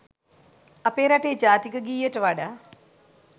අපේ රටේ ජාතික ගීයට වඩා